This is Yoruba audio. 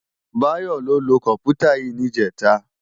Bayo ló lö kòmpútá yi nijètá